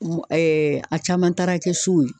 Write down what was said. a caman taara kɛ so ye.